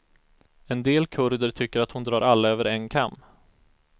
En del kurder tycker att hon drar alla över en kam.